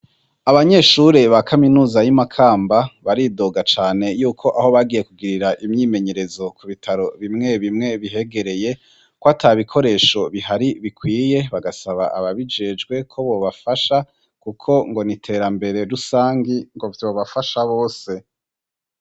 Abanyeshuri ba kaminuza y'i Makamba baridoga cane yuko aho bagiye kugirira imyimenyerezo ku bitaro bimwe bimwe bihegereye kwata bikoresho bihari bikwiye, bagasaba ababijejwe ko bobafasha kuko ngo n'iterambere rusangi ngo vyobafasha bose.